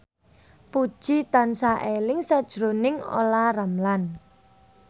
Puji tansah eling sakjroning Olla Ramlan